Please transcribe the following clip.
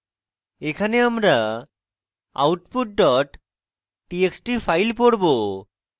এখানে আমরা output dot txt file পড়ব